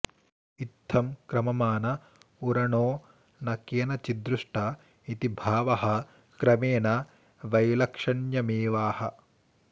इत्थं क्रममाण उरणो न केनचिद्दृष्ट इति भावः क्रमेण वैलक्षण्यमेवाह